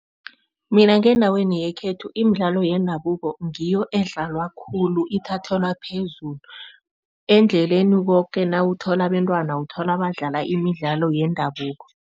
Mina ngendaweni yekhethu imidlalo yendabuko ngiyo edlalwa khulu, ithathelwa phezulu. Endleleni koke nawuthola abentwana, uthola badlala imidlalo yendabuko.